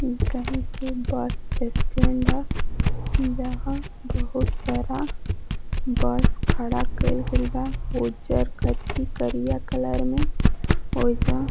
इ कहिके bus stand ह जहां बहोत सारा बस खड़ा कईल गइल बा। उज्जर कथ्थी करिया कलर में। ओइजा --